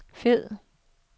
fed